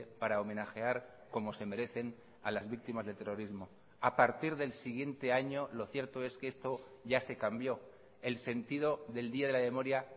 para homenajear como se merecen a las víctimas del terrorismo a partir del siguiente año lo cierto es que esto ya se cambió el sentido del día de la memoria